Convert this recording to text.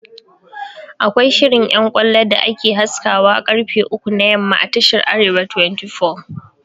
Akwai shirin ƴan ƙwallo da ake haskawa ƙarfe uku na yamma a tashar "arewa 24'